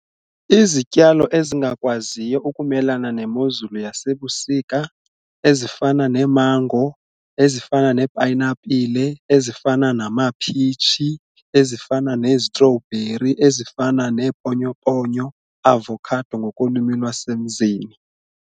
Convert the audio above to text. Izityalo ezingakwaziyo ukumelana nemozulu yasebusika ezifana neemango, ezifana neepayinapile, ezifana namaphitshi, ezifana nezitrowbheri, ezifana neeponyoponyo avocado ngokolwimi lwasemzini.